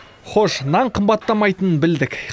хош нан қымбаттамайтынын білдік